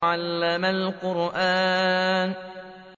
عَلَّمَ الْقُرْآنَ